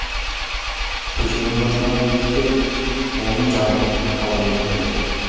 көшенің басындағы иттер оны жабылып талап өлтіреді